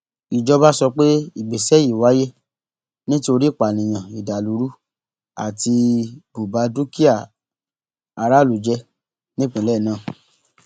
ìjọba sọ pé ìgbésẹ yìí wáyé nítorí ìpànìyàn ìdàlúrú àti bùba dúkìá aráàlú jẹ nípínlẹ náà